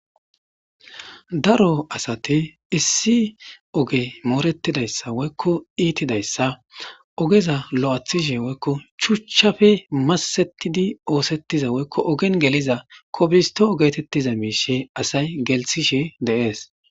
Daro asate issi oge moorettidayssa woykko iitidayssa ogeza lo'athishe woykko chuchchafe masettidi oosettiza woykko ogen geliza kobisto ogetettiza miishe asay gelthishe deees.